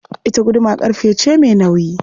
Ita guduma ƙarfe ce mai nauyi.